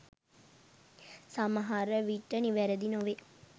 සමහරවිට නිවැරදි නොවේ.